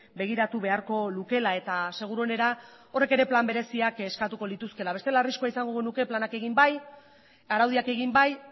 begiratu beharko lukeela eta seguruenera horrek ere plan bereziak eskatuko lituzkeela bestela arriskua izango genuke planak egin bai araudiak egin bai